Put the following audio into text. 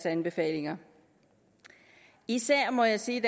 anbefalinger især må jeg sige